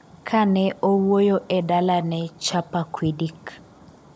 kane owuoyo e dala ne Chappaquiddick